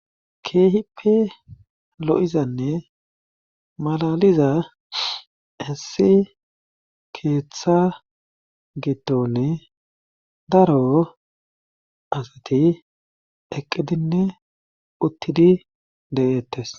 Keehippe lo7izanne malaliza hessi keeththa gitonne daro asati eqqidinne uttidi de7eettes